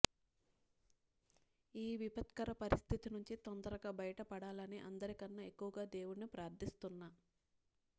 ఈ విపత్కర పరిస్థితి నుంచి తొందరగా బయటపడాలని అందరికన్నా ఎక్కువగా దేవుణ్ణి ప్రార్థిస్తున్న